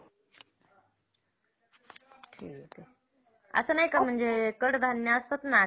असं नाही का म्हणजे कडधान्य असतात ना?